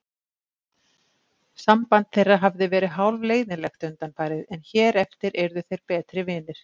Samband þeirra hafði verið hálfleiðinlegt undanfarið en hér eftir yrðu þeir betri vinir.